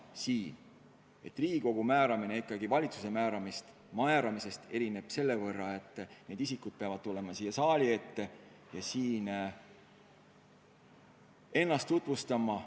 See erineks valitsuse tehtavast määramisotsusest selle poolest, et need isikud peavad tulema siia saali ette ja ennast tutvustama.